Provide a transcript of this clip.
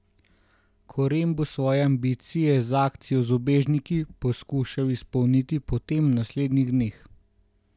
Koren bo svoje ambicije z akcijo z ubežniki poskušal izpolniti potem v naslednjih dneh.